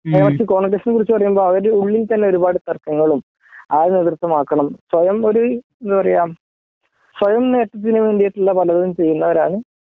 മറിച്ച് കോൺഗ്രസ്സിനെ കുറിച്ച് പറയുമ്പോ അവര് ഉള്ളിൽ തന്നെ ഒരുപാട് തർക്കങ്ങളും ആ നേതൃത്വംആക്കണം സ്വയം ഒരു എന്താ പറയാ സ്വയം നേട്ടത്തിന് വേണ്ടിയിട്ടുള്ള പലതും ചെയ്യുന്നവരാണ്